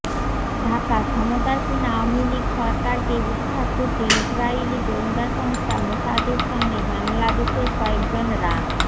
ঢাকাঃ ক্ষমতাসীন আওয়ামী লীগ সরকারকে উৎখাত করতে ইসরাইলি গোয়েন্দা সংস্থা মোসাদের সঙ্গে বাংলাদেশের কয়েকজন রা